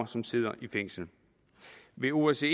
som sidder i fængsel ved osce